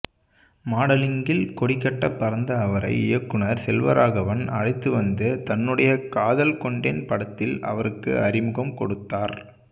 மாடலிங்கில் கொடிகட்ட பறந்த அவரை இயக்குனர் செல்வராகவன் அழைத்து வந்து தன்னுடைய காதல் கொண்டேன் படத்தில் அவருக்கு அறிமுகம் கொடுத்தார்